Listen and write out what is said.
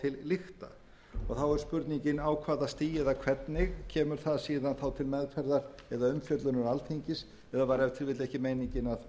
er spurningin á hvaða stigi eða hvernig kemur það síðan þá til meðferðar eða umfjöllunar alþingis eða var ef til vill ekki meiningin